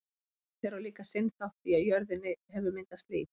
júpíter á líka sinn þátt í að á jörðinni hefur myndast líf